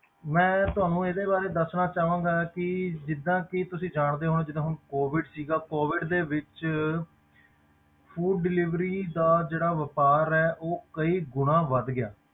ਮੈਂ ਤੁਹਾਨੂੰ ਇਹਦੇ ਬਾਰੇ ਦੱਸਣਾ ਚਾਹਾਂਗਾ ਕਿ ਜਿੱਦਾਂ ਕਿ ਤੁਸੀਂ ਜਾਣਦੇ ਹੋ ਜਿੱਦਾਂ ਹੁਣ COVID ਸੀਗਾ COVID ਦੇ ਵਿੱਚ food delivery ਦਾ ਜਿਹੜਾ ਵਾਪਾਰ ਹੈ ਉਹ ਕਈ ਗੁਣਾ ਵੱਧ ਗਿਆ।